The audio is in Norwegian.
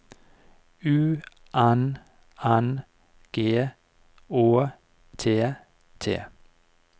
U N N G Å T T